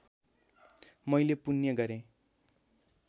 मैले पुण्य गरेँ